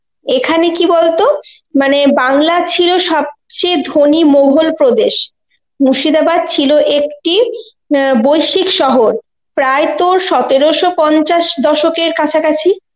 এখানে কি বলতো মানে বাংলার ছিল সবচেয়ে ধনী মোঘল প্রদেশ. মুর্শিদাবাদ ছিল একটি অ্যাঁ বৈশ্বিক শহর প্রায় তোর সতেরশ পঞ্চাশ দশকের কাছাকাছি.